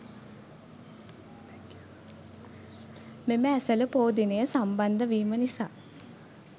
මෙම ඇසළ පෝ දිනය සම්බන්ධ වීම නිසා